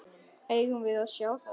Eigum við að sjá það?